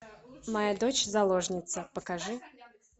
моя дочь заложница покажи